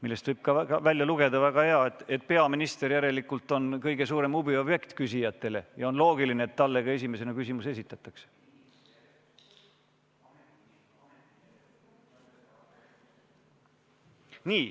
Sellest võib ka välja lugeda, et väga hea, peaminister on küsijate kõige suurem huviobjekt, ja on loogiline, et talle ka esimesena küsimus esitatakse.